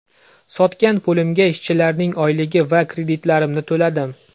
Sotgan pulimga ishchilarning oyligi va kreditlarimni to‘ladim.